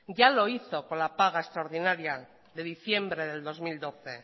ya lo hizo con la paga extraordinaria de diciembre del dos mil doce